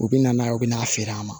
U bɛ na n'a ye u bɛ n'a feere an ma